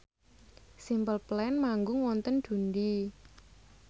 Simple Plan manggung wonten Dundee